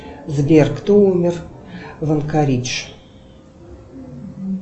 сбер кто умер в анкаридж